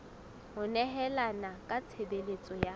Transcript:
ho nehelana ka tshebeletso ya